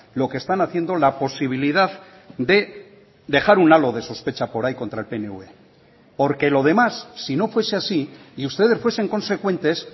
lo que están haciendo la posibilidad de dejar un halo de sospecha por ahí contra el pnv porque lo demás si no fuese así y ustedes fuesen consecuentes